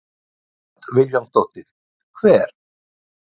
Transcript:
Hödd Vilhjálmsdóttir: Hver?